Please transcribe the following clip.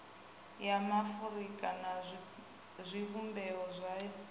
ya maafurika na zwivhumbeo zwayo